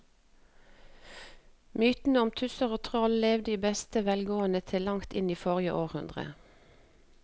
Mytene om tusser og troll levde i beste velgående til langt inn i forrige århundre.